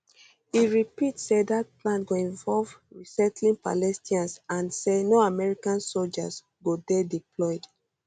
e repeat say dat plan go involve resettling palestinians and um say no american soldiers go dey deployed